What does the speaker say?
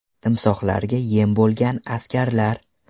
Timsohlarga yem bo‘lgan askarlar.